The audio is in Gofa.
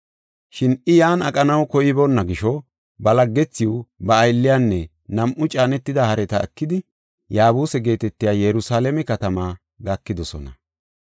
Shin I yan aqanaw koyiboona gisho ba laggethiw, ba aylliyanne nam7u caanetida hareta ekidi Yaabuse geetetiya Yerusalaame katamaa gakidosona.